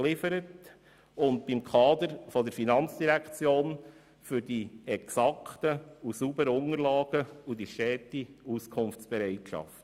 Dem Kader der FIN danke ich für die exakten und sauberen Unterlagen sowie für die stete Auskunftsbereitschaft.